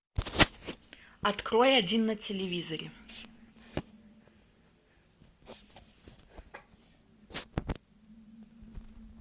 открой один на телевизоре